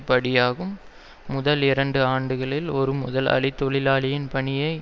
படியாகும் முதல் இரண்டு ஆண்டுகளில் ஒரு முதலாளி தொழிலாளியின் பணியை